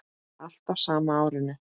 Allt á sama árinu.